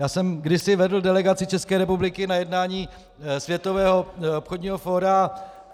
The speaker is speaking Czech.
Já jsem kdysi vedl delegaci České republiky na jednání Světového obchodního fóra.